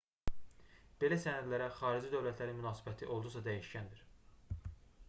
belə sənədlərə xarici dövlətlərin münasibəti olduqca dəyişkəndir